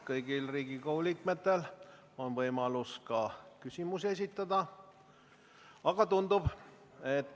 Kõigil Riigikogu liikmetel on nüüd võimalus esitada küsimusi.